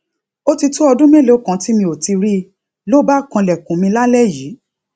ó ti tó ọdún mélòó kan tí mi ò ti rí i ló bá kanlèkùn mi lálé yìí